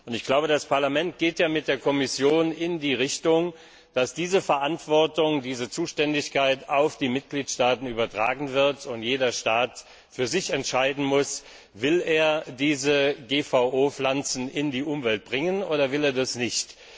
Ich glaube, das Parlament geht ja mit der Kommission in die Richtung, dass diese Verantwortung, diese Zuständigkeit auf die Mitgliedstaaten übertragen wird und jeder Staat für sich entscheiden muss, will er GVO Pflanzen in die Umwelt bringen oder will er das nicht.